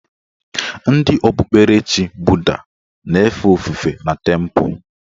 Ndị okpukperechi buda na-efe ofufe na tempụ